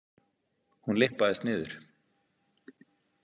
Hún lyppaðist niður.